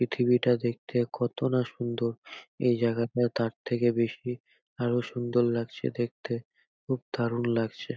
পৃথিবীটা দেখতে কত না সুন্দর। এই জায়গাটা তার থেকে বেশি আরো সুন্দর লাগছে দেখতে। খুব দারুন লাগছে।